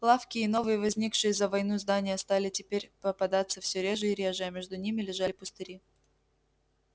лавки и новые возникшие за войну здания стали теперь попадаться всё реже и реже а между ними лежали пустыри